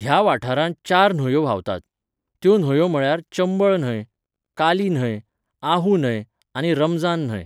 ह्या वाठारांत चार न्हंयो व्हांवतात, त्यो न्हंयो म्हळ्यार चंबळ न्हंय, काली न्हंय, आहू न्हंय, आनी रमझान न्हंय.